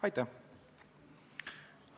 Aitäh!